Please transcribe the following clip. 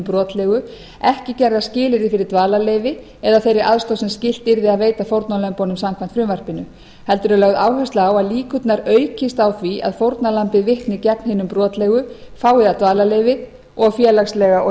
brotlegu ekki gerð að skilyrði fyrir dvalarleyfi eða þeirri aðstoð sem skylt yrði að veita fórnarlömbunum samkvæmt frumvarpinu heldur er lögð áhersla á að líkur aukist á því að fórnarlambið vitni gegn hinum brotlegu fái það dvalarleyfi og félagslega og